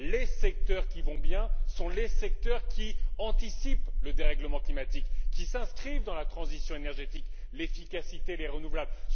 Les secteurs qui vont bien sont les secteurs qui anticipent le dérèglement climatique, qui s'inscrivent dans la transition énergétique, l'efficacité et les énergies renouvelables.